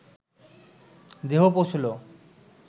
দেহ পৌঁছল